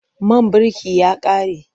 Man birki ya ƙare.